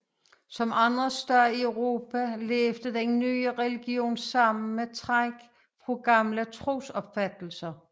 Som andre steder i Europa levede den nye religion sammen med træk fra gamle trosopfattelser